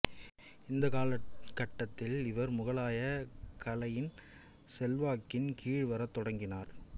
இந்த காலகட்டத்தில் இவர் முகலாய கலையின் செல்வாக்கின் கீழ் வரத் தொடங்கினார்